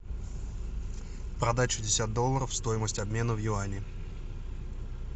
продать шестьдесят долларов стоимость обмена в юани